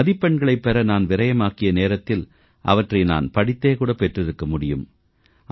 மதிப்பெண்களைப் பெற நான் விரயமாக்கிய நேரத்தில் அவற்றை நான் படித்தே கூட பெற்றிருக்க முடியும்